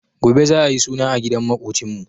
Gobe za'a yi suna a gidan maƙocinmu.